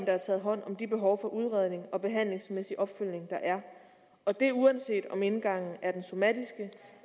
er taget hånd om de behov for udredning og behandlingsmæssig opfølgning der er og det er uanset om indgangen er den somatiske